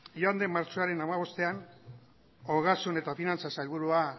joan den martxoaren hamabostean ogasun eta finantza sailburua